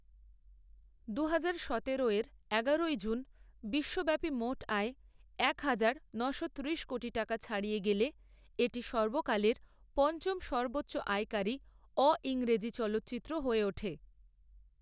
দুহাজার সতেরো এর এগারোই জুন বিশ্বব্যাপী মোট আয় এক হাজার, ন'শো ত্রিশ কোটি টাকা ছাড়িয়ে গেলে, এটি সর্বকালের পঞ্চম সর্বোচ্চ আয়কারী অ ইংরেজি চলচ্চিত্র হয়ে ওঠে।